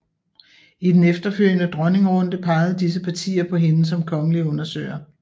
I den efterfølgende dronningerunde pegede disse partier på hende som kongelig undersøger